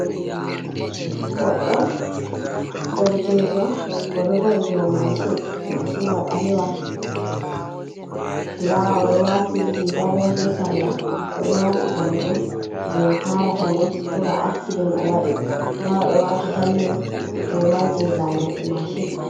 Goɗɗo derkejo o ɗo va’i dou mashin, mashin wa ɓalewa nda oɗo wati riga bo be sarla oɗo wati kare bo je karata mo, ko ba acsiden o waɗi nda o ɗo wati helmen hula je lanyoɓe mashin.